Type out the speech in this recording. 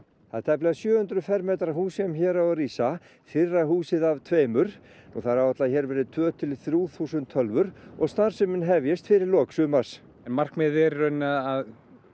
það er tæplega sjö hundruð fermetra hús sem hér á að rísa fyrra húsið af tveimur og það er áætlað að hér verði tvö til þrjú þúsund tölvur og starfsemin hefjist fyrir lok sumars markmiðið er í rauninni að